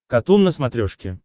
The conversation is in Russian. катун на смотрешке